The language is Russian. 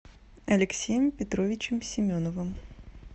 алексеем петровичем семеновым